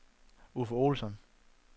Uffe Olsson